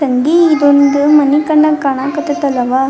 ತಂಗಿ ಇದೊಂದು ಮನಿ ಕಂಡಂಗ್ ಕಾಣಕತ್ತತ್ ಅಲ್ಲವಾ.